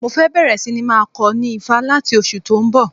Mo fẹ́ bẹ̀rẹ̀ síní máa kọ ní Ifá láti oṣù tó ń bọ̀